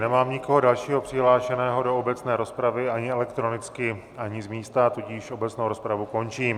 Nemám nikoho dalšího přihlášeného do obecné rozpravy, ani elektronicky, ani z místa, tudíž obecnou rozpravu končím.